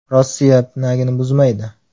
Rossiya pinagini buzmaydi.